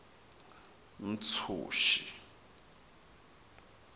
ntshuxi